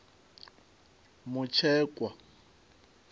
mutshekwa